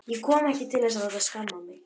Ég kom ekki til þess að láta skamma mig.